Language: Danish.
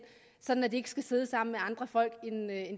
sådan at de ikke skal sidde sammen med andre folk